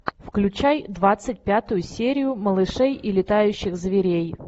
включай двадцать пятую серию малышей и летающих зверей